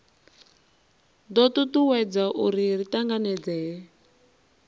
do tutuwedza uri ri tanganedzee